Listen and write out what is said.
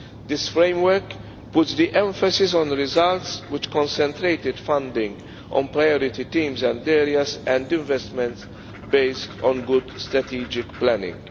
This framework puts the emphasis on the results, which concentrated funding on priority teams and areas, and investments based on good strategic planning.